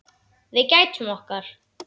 Við gætum okkar.